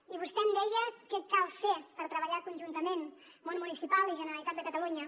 i vostè em deia què cal fer per treballar conjuntament món municipal i generalitat de catalunya